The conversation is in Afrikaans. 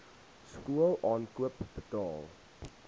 skool aankoop betaal